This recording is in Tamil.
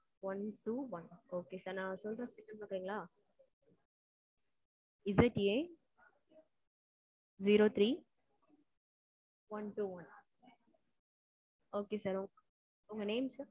one two one okay sir. நான் சொல்றது note பண்ணிக்கிறீங்களா? ZAzero three one two one okay sir okay. உங்க name sir?